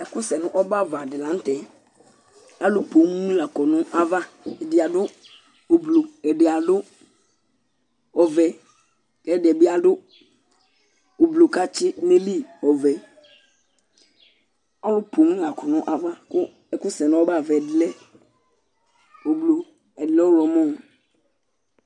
Ɛku sɛ nʋ ɔbɛ ava di la ntɛ Alu poo ni la kɔ nʋ ava Ɛdí adu ʋblue Ɛdí adu ɔvɛ kʋ ɛdí bi adu ʋblue kʋ atsi du nʋ ayìlí ɔvɛ Alu ni la kɔ nʋ ava kʋ ɛku nʋ ɔbɛ ava ɛdí lɛ ʋblue Ɛdí lɛ ɔwlɔmɔ